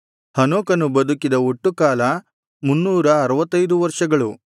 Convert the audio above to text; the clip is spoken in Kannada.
ಹನೋಕನು ಬದುಕಿದ ಒಟ್ಟು ಕಾಲ ಮುನ್ನೂರ ಅರುವತ್ತೈದು ವರ್ಷಗಳು